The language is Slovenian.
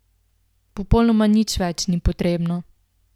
Popolnoma nič več ni potrebno.